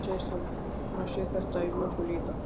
En hann segist hafa séð þetta í vöku líka.